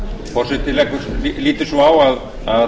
forseti lítur svo á að það